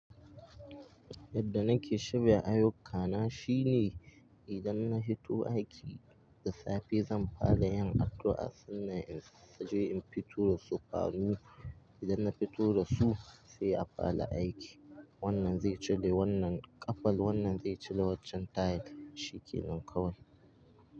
Yadda nake shirya ayyuka na shine idan na fito aiki da safe zan fara yin addu'a sannan in je in fito su. Fanu idan na fito da su sai a fara aiki. Wannan zai cire wannan ƙafan, wannan zai cire waccan tile, shi ke nan kawai.